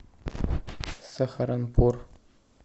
сахаранпур